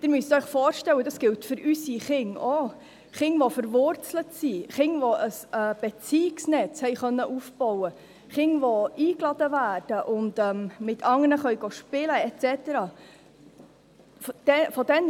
Sie müssen sich vorstellen – das gilt auch für unsere Kinder –, Kinder, die verwurzelt sind, die ein Beziehungsnetz haben und aufbauen können, die eingeladen werden und mit anderen spielen können und so weiter: